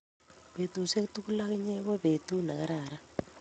petusiek tugul ak inye ko petut ne kararan